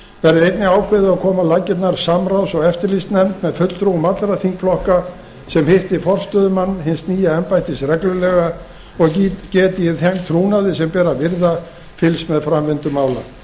verði einnig ákveðið að koma á laggirnar samráðs og eftirlitsnefnd með fulltrúum allra þingflokka sem hitti forstöðumann hins nýja embættis reglulega og geti í þeim trúnaði sem ber að virða fylgst með framvindu mála